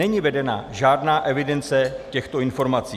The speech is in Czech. Není vedena žádná evidence těchto informací.